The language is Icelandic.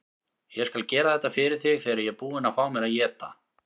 Ég skal gera þetta fyrir þig þegar ég er búinn að fá mér að éta.